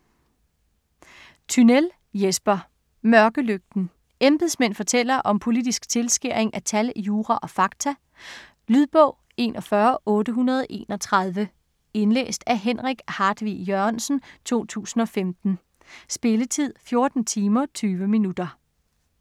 Tynell, Jesper: Mørkelygten Embedsmænd fortæller om politisk tilskæring af tal, jura og fakta. Lydbog 41831 Indlæst af Henrik Hartvig Jørgensen, 2015. Spilletid: 14 timer, 20 minutter.